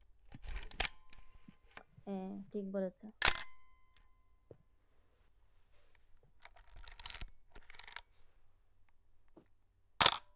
হ্যাঁ ঠিক বলেছেন।